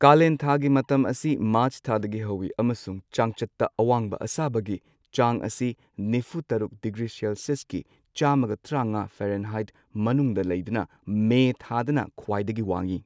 ꯀꯥꯂꯦꯟ ꯊꯥꯒꯤ ꯃꯇꯝ ꯑꯁꯤ ꯃꯥꯔꯆ ꯊꯥꯗꯒꯤ ꯍꯧꯏ ꯑꯃꯁꯨꯡ ꯆꯥꯡꯆꯠꯇ ꯑꯋꯥꯡꯕ ꯑꯁꯥꯕꯒꯤ ꯆꯥꯡ ꯑꯁꯤ ꯅꯤꯐꯨ ꯇꯔꯨꯛ ꯗꯤꯒ꯭ꯔꯤ ꯁꯦꯂꯁꯤꯌꯁꯀꯤ ꯆꯥꯝꯃꯒ ꯇ꯭ꯔꯥꯉꯥ ꯐꯦꯔꯦꯟꯍꯥꯏꯠ ꯃꯅꯨꯡꯗ ꯂꯩꯗꯨꯅ ꯃꯦ ꯊꯥꯗꯅ ꯈ꯭ꯋꯥꯏꯗꯒꯤ ꯋꯥꯡꯏ꯫